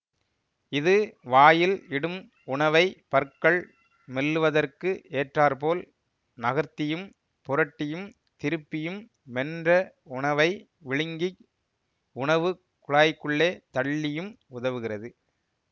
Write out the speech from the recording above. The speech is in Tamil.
இது வாயில் இடும் உணவை பற்கள் மெல்லுவதற்கு ஏற்றார்போல் நகர்த்தியும் புரட்டியும் திருப்பியும் மென்ற உணவை விழுங்கி உணவு குழாய்க்குள்ளே தள்ளியும் உதவுகிறது